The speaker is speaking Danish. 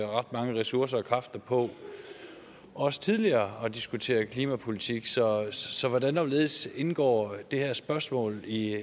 ret mange ressourcer og kræfter på også tidligere at diskutere klimapolitik så så hvordan og hvorledes indgår det her spørgsmål i